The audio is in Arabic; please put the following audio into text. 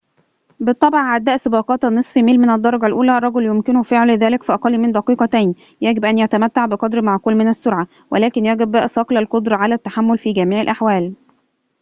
بالطبع عداء سباقات النصف ميل من الدرجة الأولى رجل يمكنه فعل ذلك في أقل من دقيقتين يجب أن يتمتع بقدر معقول من السرعة ولكن يجب صقل القدرة على التحمل في جميع الأحوال